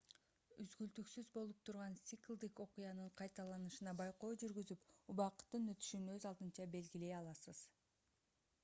үзгүлтүксүз болуп турган циклдик окуянын кайталанышына байкоо жүргүзүп убакыттын өтүшүн өз алдынча белгилей аласыз